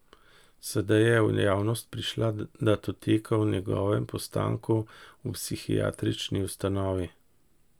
Sedaj je v javnost prišla datoteka o njegovem postanku v psihiatrični ustanovi.